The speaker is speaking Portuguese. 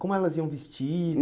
Como elas iam